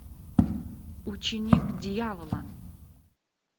ученик дьявола